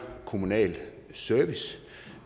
kommunal service